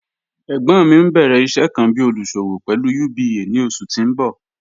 Ẹgbon mi n bẹ̀rẹ̀ iṣẹ̀ kan bí olúṣọ̀wọ̀ pẹ̀lú UBA ni oṣù tí n bọ̀.